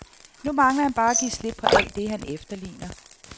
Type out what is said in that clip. Nu mangler han bare at give slip på alt det, han efterligner.